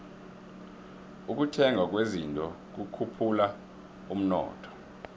ukuthengwa kwezinto kukhuphula umnotho